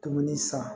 Dumuni san